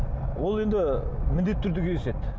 ол енді міндетті түрде кездеседі